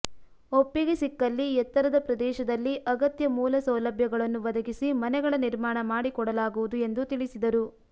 ಒಪ್ಪಿಗೆ ಸಿಕ್ಕಲ್ಲಿ ಎತ್ತರದ ಪ್ರದೇಶದಲ್ಲಿ ಅಗತ್ಯ ಮೂಲ ಸೌಲಭ್ಯಗಳನ್ನು ಒದಗಿಸಿ ಮನೆಗಳ ನಿರ್ಮಾಣ ಮಾಡಿಕೊಡಲಾಗುವುದು ಎಂದು ತಿಳಿಸಿದರು